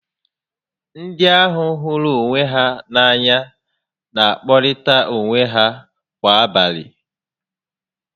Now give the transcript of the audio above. Ndị a hụrụ onwe ha n'anya n'akpọrịta onwe ha kwa abalị